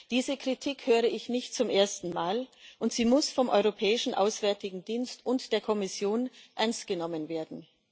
Diese Kritik höre ich nicht zum ersten Mal, und sie muss vom Europäischen Auswärtigen Dienst und der Kommission ernst genommen werden.